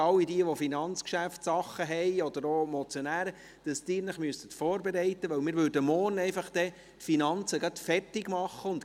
All jene, die Finanzgeschäfte haben, oder auch Motionäre, müssten sich vorbereiten, weil wir die Finanzen dann morgen fertigmachen würden.